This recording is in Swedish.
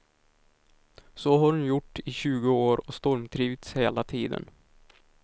Så har hon gjort i tjugo år och stormtrivts hela tiden.